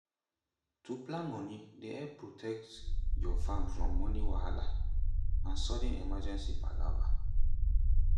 to plan moni dey help protect your farm from moni wahala and sudden emergency palava.